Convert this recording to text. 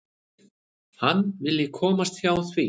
Hann vilji komast hjá því.